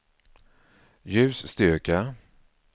ljusstyrka